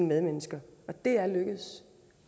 medmennesker og det er lykkedes